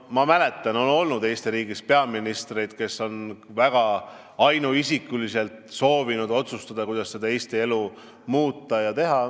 Ma mäletan, et Eesti riigis on olnud peaministreid, kes on ainuisikuliselt soovinud otsustada, kuidas Eesti elu muuta.